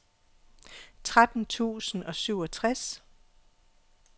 tretten tusind og syvogtres